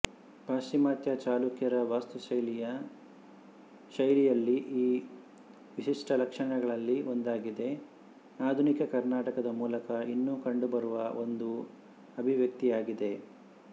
ಪಾಶ್ಚಿಮಾತ್ಯ ಚಾಲುಕ್ಯರ ವಾಸ್ತುಶೈಲಿಯ ಶೈಲಿಯಲ್ಲಿ ಈ ವಿಶಿಷ್ಟ ಲಕ್ಷಣಗಳಲ್ಲಿ ಒಂದಾಗಿದೆ ಆಧುನಿಕ ಕರ್ನಾಟಕದ ಮೂಲಕ ಇನ್ನೂ ಕಂಡುಬರುವ ಒಂದು ಅಭಿವ್ಯಕ್ತಿಯಾಗಿದೆ